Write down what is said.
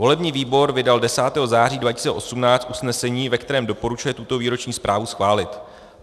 Volební výbor vydal 10. září 2018 usnesení, ve kterém doporučuje tuto výroční zprávu schválit.